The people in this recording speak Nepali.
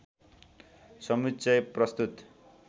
समुच्चय प्रस्तुत